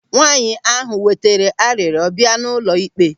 Nwaanyị ahụ wetere arịrịọ bịa n'ụlọ ịkpe.